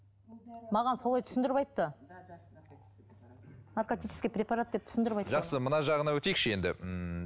маған солай түсіндіріп айтты наркотический препарат деп түсіндіріп айтты жақсы мына жағына өтейікші енді ммм